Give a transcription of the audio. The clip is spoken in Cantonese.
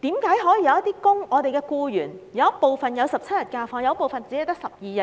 為何有部分僱員享有17天假期，有部分卻只有12天？